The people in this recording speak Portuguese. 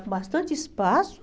Com bastante espaço.